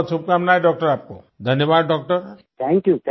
बहुत शुभकामनाएं डॉक्टर आपको धन्यवाद डॉक्टर